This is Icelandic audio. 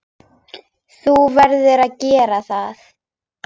Þú verður að gera það.